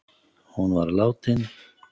Hún var látin